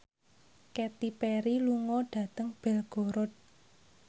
Katy Perry lunga dhateng Belgorod